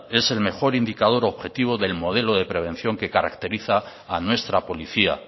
es el mejor indicador objetivo del modelo de prevención que caracteriza a nuestra policía